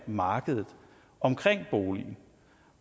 markedet omkring boligen